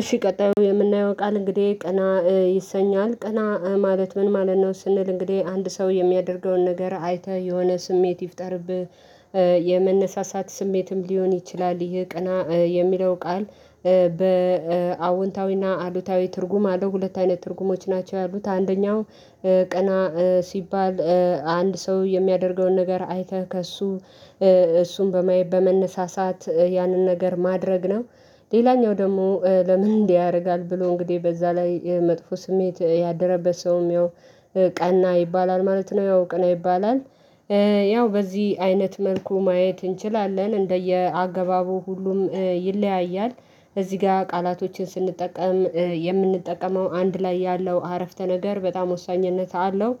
እሺ ቀጣዩ የምናየው ቃል እንግዲህ ቀና ይሰኛል ቀና ማለት ምን ማለት ነው ስንል እንግዲህ አንድ ሰው የሚያደርገውን ነገር አይተህ የሆነ ስሜት ይፍጠርብህ። የመነሳሳት ስሜትም ሊሆን ይችላል ይህ ቀና የሚለው ቃል። በአዎንታዊ እና አሉታዊ ትርጉም አለው ሁለት አይነት ትርጉሞች ናቸው ያሉት አንደኛው ቀና ሲባል አንድ ሰው የሚያደርገውን ነገር አይተህ ከሱ እሱን በማየት በመነሳሳት ያንን ነገር ማድረግ ነው። ሌላኛው ደግሞ ለምን ያደርጋል ብሎ እንግዲህ በዛ ላይ መጥፎ ስሜት ያደረበት ሰውም ያው ቀና ይባላል ማለት ነው። ያው ቀና ይባላል እ ያው በዚህ አይነት መልኩ ማየት እንችላለን እንደየ አገባቡ ሁሉም ይለያያል። እዚህ ጋር ቃላቶችን ስንጠቀም የምንጠቀመው አንድ ላይ ያለው አረፍተ ነገር በጣም ወሳኝነት አለው።